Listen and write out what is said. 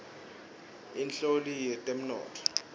inhloli yetemnotfo